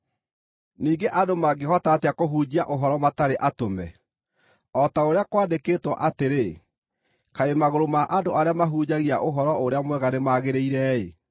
Ningĩ andũ mangĩhota atĩa kũhunjia ũhoro matarĩ atũme? O ta ũrĩa kwandĩkĩtwo atĩrĩ, “Kaĩ magũrũ ma andũ arĩa mahunjagia Ũhoro-ũrĩa-Mwega nĩmagĩrĩire-ĩ!”